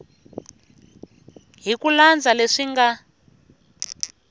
hi ku landza leswi nga